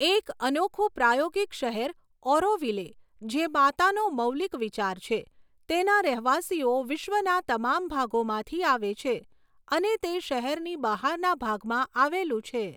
એક અનોખું પ્રાયોગિક શહેર ઓરોવિલે, જે માતાનો મૌલિક વિચાર છે, તેના રહેવાસીઓ વિશ્વના તમામ ભાગોમાંથી આવે છે, અને તે શહેરની બહારના ભાગમાં આવેલું છે.